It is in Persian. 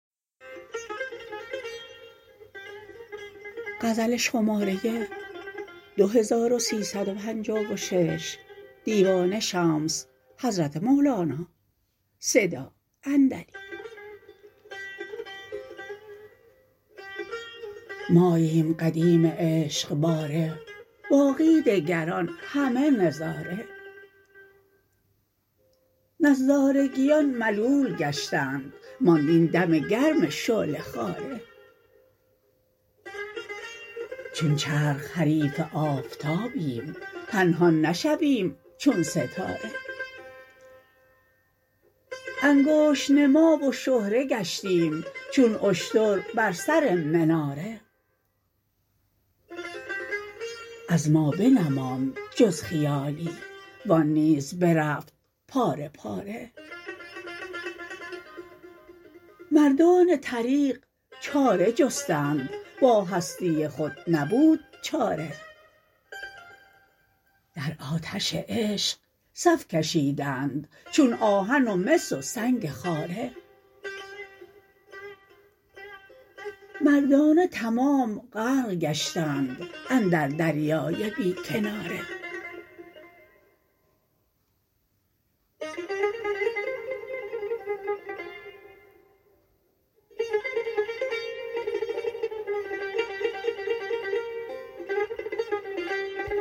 ماییم قدیم عشق باره باقی دگران همه نظاره نظارگیان ملول گشتند ماند این دم گرم شعله خواره چون چرخ حریف آفتابیم پنهان نشویم چون ستاره انگشت نما و شهره گشتیم چون اشتر بر سر مناره از ما بنماند جز خیالی و آن نیز برفت پاره پاره مردان طریق چاره جستند با هستی خود نبود چاره در آتش عشق صف کشیدند چون آهن و مس و سنگ خاره مردانه تمام غرق گشتند اندر دریای بی کناره